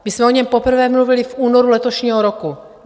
My jsme o něm poprvé mluvili v únoru letošního roku.